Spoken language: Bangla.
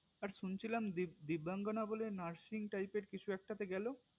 আর শুনছিলাম দিব্যাঙ্গনা বলে nursing type এর কিছু একটাতে গেলো